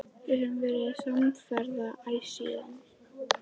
Við höfum verið samferða æ síðan.